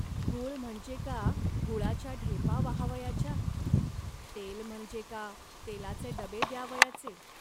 गूळ म्हणजे का गुळाच्या ढेपा वाहावयाच्या. तेल म्हणजे का तेलाचे डब द्यावयाचे